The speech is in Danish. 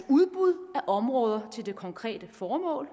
udbud af områder til det konkrete formål